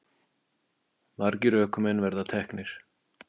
Margir ökumenn verið teknir